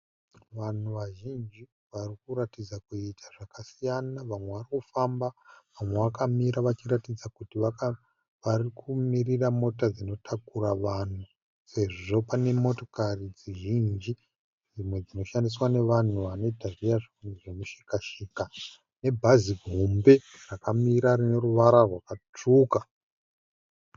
Vanhu vazhinji varikuratidza kuita zvakasiyana. Vamwe varikufamba vamwe vakamira vachiratidza kuti varikumirira mota dzinotakura vanhu sezvo pane motokari zhinji dzimwe dzinoshandiswa nevanhu vanoita zviya zvemishika shika nebhazi hombe rakamira rine ruvara rwakatsvuka.